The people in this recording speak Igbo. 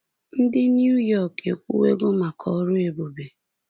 Ndị New York ekwuwego maka ọrụ ebube.